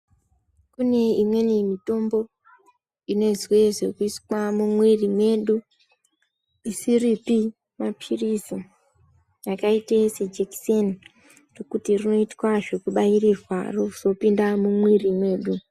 Khune imweni mithombo, inoizwe zvekhuiswa mumwiri medu, isiripi maphilizi, yakaite sejekiseni, rokhuti rinoitwa zvekubayirirwa rozoita zvokuphinda mumwiri mwedu.